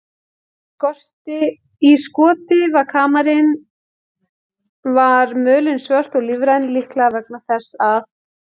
Í skoti við kamarinn var mölin svört og lífræn, líklega vegna þess að